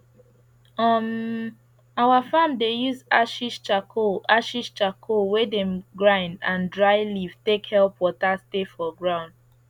um our farm dey use ashes charcoal ashes charcoal wey dem grind and dry leaf take help water stay for ground